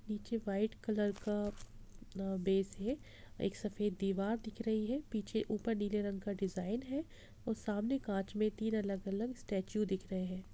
नीचे white colour का अ बेस है एक सफ़ेद दीवार दिख रही है पीछे ऊपर नीले रंग का डिज़ाइन है और सामने कांच में तीन अलग-अलग स्टेचू दिख रहे हैं।